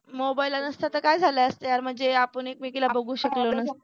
mobile नसता तर काय झाल असतं यार म्हणजे आपण एकमेकीला बघू शकलो नसतो